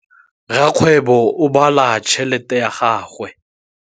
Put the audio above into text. Rakgwêbô o bala tšheletê ya gagwe.